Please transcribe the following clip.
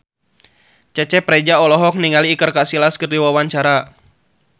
Cecep Reza olohok ningali Iker Casillas keur diwawancara